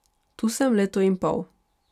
Tu sem leto in pol.